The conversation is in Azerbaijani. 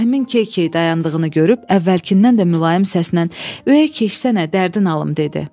Ağarəhmin keykey dayandığını görüb əvvəlkindən də mülayim səslə: Ürəyin keçsənə dərdim alım dedi.